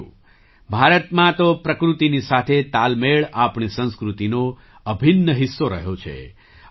સાથીઓ ભારતમાં તો પ્રકૃતિની સાથે તાલમેળ આપણી સંસ્કૃતિનો અભિન્ન હિસ્સો રહ્યો છે